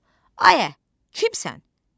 Ayə, kimsən?